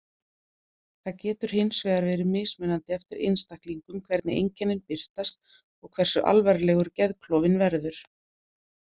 Það getur hinsvegar verið mismunandi eftir einstaklingum hvernig einkennin birtast og hversu alvarlegur geðklofinn verður.